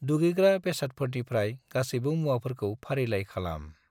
दुगैग्रा बेसादफोरनिफ्राय गासैबो मुवाफोरखौ फारिलाइ खालाम।